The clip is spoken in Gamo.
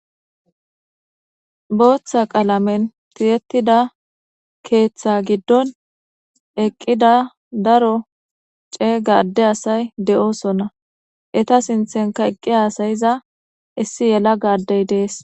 Bootha qalamenn tiyetidda keeththa giddon eqida Daro cega ade asay De'osona Eta sinthenka Eqi hasa'iza issi yelaga adey dess